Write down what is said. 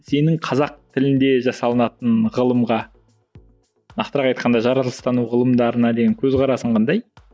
сенің қазақ тілінде жасалынатын ғылымға нақтырақ айтқанда жаралыстану ғылымдарына деген көзқарасың қандай